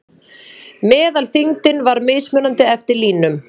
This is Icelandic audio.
Meðalþyngdin var mismunandi eftir línum.